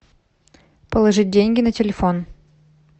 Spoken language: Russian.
положить деньги на телефон